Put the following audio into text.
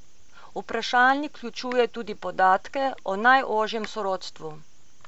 Vprašalnik vključuje tudi podatke o najožjem sorodstvu.